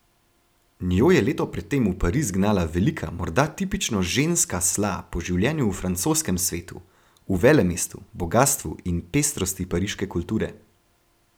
Njo je leto pred tem v Pariz gnala velika, morda tipično ženska sla po življenju v francoskem svetu, v velemestu, bogastvu in pestrosti pariške kulture.